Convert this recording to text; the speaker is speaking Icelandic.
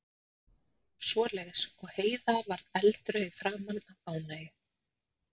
og svoleiðis, og Heiða varð eldrauð í framan af ánægju.